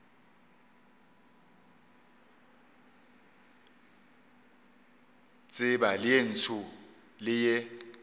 tseba ye ntsho le ye